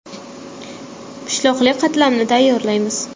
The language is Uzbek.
Pishloqli qatlamni tayyorlaymiz.